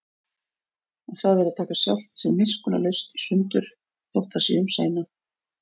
Og það er að taka sjálft sig miskunnarlaust í sundur, þótt það sé um seinan.